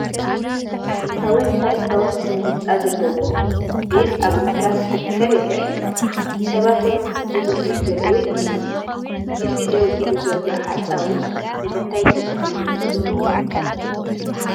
ጥንታውን ታሪካውን ስነ ህንፃ ዘለዎ ግን ኣብ ምፍራስ ዝርከብ ይረአ፡፡ ሰባት ውን ዝጉብንዩ ዘለው ይመስሉ፡፡ እቲ ደው ኢሉ ዘሎ ሓፃዊን ንምንታይ ተተኺሉ ይመስለኩም?